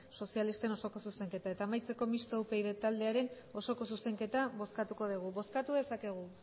sozialisten osoko zuzenketa eta amaitzeko mistoa upyd taldearen osoko zuzenketa bozkatuko dugu bozkatu dezakegu